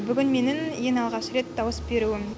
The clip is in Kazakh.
бүгін менің ең алғаш рет дауыс беруім